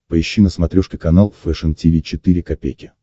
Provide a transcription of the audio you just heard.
поищи на смотрешке канал фэшн ти ви четыре ка